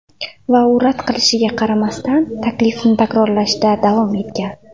Va u rad qilishiga qaramasdan, taklifni takrorlashda davom etgan.